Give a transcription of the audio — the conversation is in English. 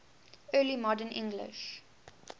early modern english